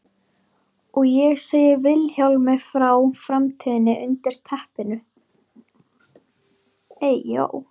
Og ég segi Vilhjálmi frá framtíðinni undir teppinu.